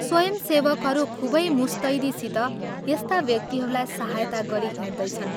स्वयंसेवकहरू खूबै मुस्तैदीसित यस्ता व्यक्तिहरूलाई सहायता गरी हिंड्दैछन्।